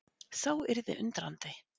Sá yrði undrandi!